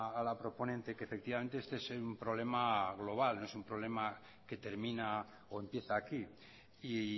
a la proponente que efectivamente este es un problema global no es un problema que termina o empieza aquí y